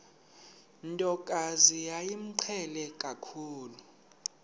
ntokazi yayimqhele kakhulu